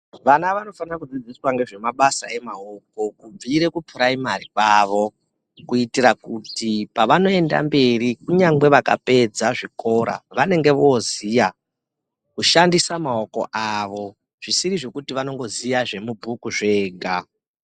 Vana vanofana kudzidziswa ngezvemabasa emaoko kubvire kupuraimari kwavo, kuitira kuri pavanoenda mberi kunyangwe vakapedza zvikora vanenga voziya kushandisa maoko avo zvisiri zvekuti vanongoziva zvemubhuku zvega